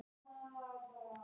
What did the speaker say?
Skemmta sér.